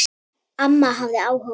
Amma hafði áhuga á fötum.